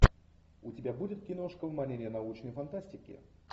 у тебя будет киношка в манере научной фантастики